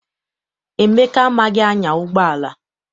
Emeka amaghị anya ụgbọala.